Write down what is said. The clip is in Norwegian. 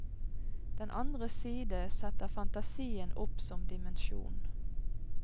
Den andre side setter fantasien opp som dimensjon.